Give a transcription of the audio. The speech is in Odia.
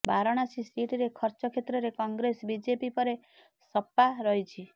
ବାରାଣାସୀ ସିଟରେ ଖର୍ଚ୍ଚ କ୍ଷେତ୍ରରେ କଂଗ୍ରେସ ବିଜେପି ପରେ ସପା ରହିଛି